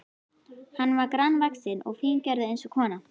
Hann var grannvaxinn og fíngerður eins og kona.